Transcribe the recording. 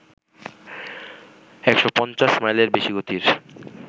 ১৫০ মাইলের বেশি গতির